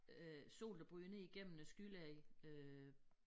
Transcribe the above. Øh sol der bryder ned igennem æ skylag øh